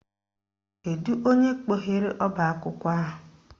Kedu onye kpọghere ọbaakwụkwọ ahụ?